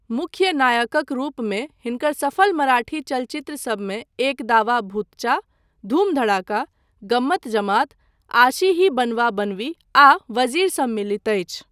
मुख्य नायकक रूपमे हिनकर सफल मराठी चलचित्रसभमे एक दावा भूतचा, धूम धड़ाका, गम्मत जमात, आशी ही बनवा बनवी आ वज़ीर सम्मिलित अछि।